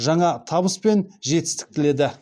жаңа табыс мен жетістік тіледі